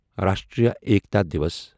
Rashtriya Ekta Diwas